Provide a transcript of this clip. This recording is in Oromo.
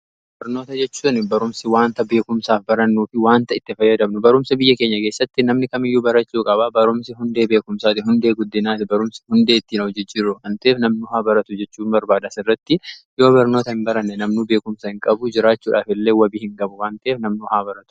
Barnoota jechuun barumsi wanta beekumsaaf barannuu fi waanta itti fayyadamnudha. Barumsi biyya keenya geessatti namni kamiyyuu barachuu qabaa. Barumsi hundee beekumsaati, hundee guddinaati, barumsi hundee ittin of jijjirru waan ta'eef namni haa baratu jechuun barbaadas irratti yoo barnoota hin baranne namnuu beekumsaa hin qabu jiraachuudhaaf illee wabii hin qabu waan ta'eef namnii haa baratu.